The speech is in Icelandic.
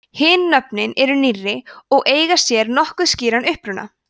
hin nöfnin eru nýrri og eiga sér nokkuð skýran uppruna